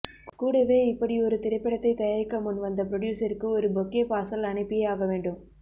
கூடவே இப்படியொரு திரைப்படத்தை தயாரிக்க முன் வந்த புரொடியூசருக்கு ஒரு பொக்கே பார்சல் அனுப்பியே ஆக வேண்டும்